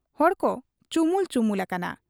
ᱦᱚᱲᱠᱚ ᱪᱩᱢᱩᱞ ᱪᱩᱢᱩᱞ ᱟᱠᱟᱱᱟ ᱾